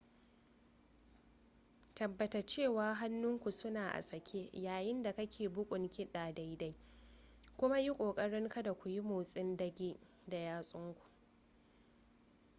tabbata cewa hannunku suna a sake yayin da kake bugun kiɗa daidai kuma yi ƙoƙarin kada kuyi motsin ɗage da yatsunku